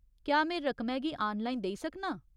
क्या में रकमै गी आनलाइन देई सकनां?